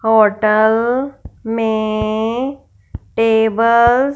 hotel में tables --